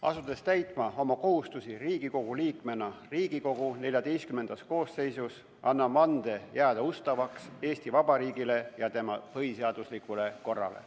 Asudes täitma oma kohustusi Riigikogu liikmena Riigikogu XIV koosseisus, annan vande jääda ustavaks Eesti Vabariigile ja tema põhiseaduslikule korrale.